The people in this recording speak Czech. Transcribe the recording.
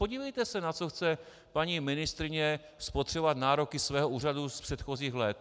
Podívejte se, na co chce paní ministryně spotřebovat nároky svého úřadu z předchozích let.